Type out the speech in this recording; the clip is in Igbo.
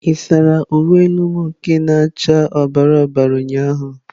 Ị saara uwe elu m nke na acha ọbara ọbara ụnyahụ?